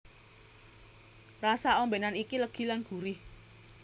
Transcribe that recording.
Rasa ombènan iki legi lan gurih